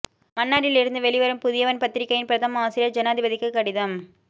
மன்னாரில் இருந்து வெளிவரும் புதியவன் பத்திரிகையின் பிரதம ஆசிரியர் ஜனாதிபதிக்கு கடிதம்